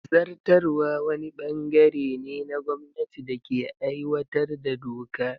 Zartarwa wani ɓangare ne na gwamnati da ke aiwatar da doka.